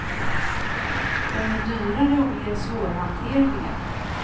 De är dyrare och mer svårhanterliga.